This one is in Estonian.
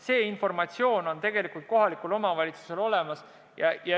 See informatsioon on tegelikult kohalikul omavalitsusel olemas.